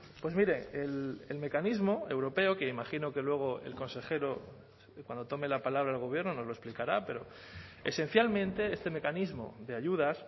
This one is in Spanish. pues mire el mecanismo europeo que imagino que luego el consejero cuando tome la palabra el gobierno nos lo explicará pero esencialmente este mecanismo de ayudas